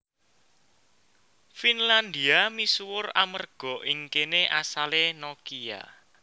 Finlandia misuwur amerga ing kéné asalé Nokia